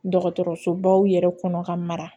Dɔgɔtɔrɔsobaw yɛrɛ kɔnɔ ka mara